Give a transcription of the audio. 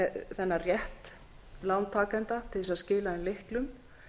þennan rétt lántakenda til þess að skila inn lyklum